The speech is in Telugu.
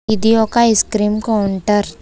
ఇది ఒక ఐస్ క్రీం కౌంటర్ .